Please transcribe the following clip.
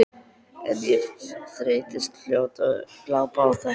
En ég þreyttist fljótt á að glápa á þetta.